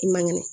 I ma kɛnɛ